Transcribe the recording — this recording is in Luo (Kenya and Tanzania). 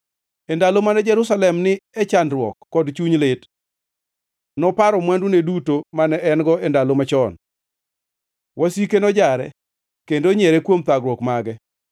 E ndalo mane Jerusalem ni e chandruok kod chuny lit, noparo mwandune duto mane en-go e ndalo machon. Wasike nojare kendo onyiero kuom thagruok mage.